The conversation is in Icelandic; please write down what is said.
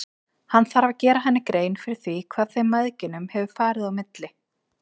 Hann þarf að gera henni grein fyrir því hvað þeim mæðginum hefur farið á milli.